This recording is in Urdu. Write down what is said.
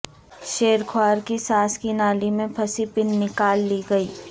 شیر خوار کی سانس کی نالی میں پھنسی پن نکال لی گئی